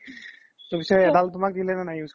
তো পিছে তুমাক এদাল দিলে নে নাই use কৰিব